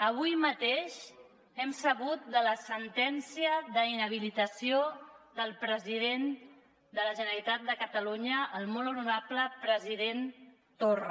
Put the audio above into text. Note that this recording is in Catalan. avui mateix hem sabut de la sentència d’inhabilitació del president de la generalitat de catalunya el molt honorable president torra